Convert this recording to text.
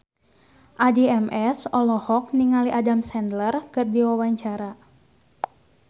Addie MS olohok ningali Adam Sandler keur diwawancara